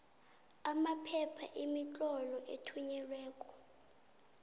amaphepha imitlolo ethunyelweko